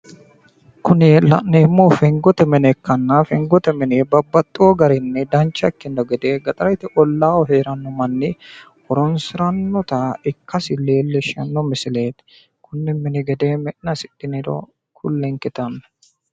Kuni la'neemmohu gallanni mine ikkanna Du'masi fengote mineti yineemmo, togoo mine mi'na hasiranohu heeriro ku'lenke yittanno